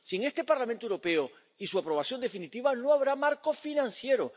Sin este Parlamento Europeo y su aprobación definitiva, no habrá marco financiero.